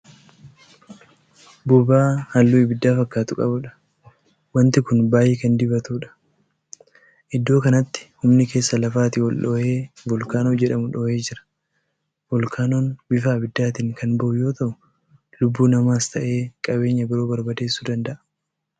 Boba'aa halluu abidda fakkaatu qabuudha. wanti Kuni baay'ee Kan diibatuudha. iddoo kanatti humni keessa lafaatii ol-dhoohe voolkaaanoo jedhamu dhoohee jira. voolkaanoon bifa abiddaatiin Kan bahu yoo ta'u lubbuu lamaas ta'ee qabeenya biroo barbadeessuu danda'a.